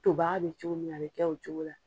Tobaga bɛ cogo min na, a bɛ kɛ o cogo la.